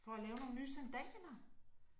For at lave nogle nye sandaler